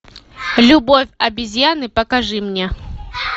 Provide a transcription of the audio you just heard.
любовь обезьяны покажи мне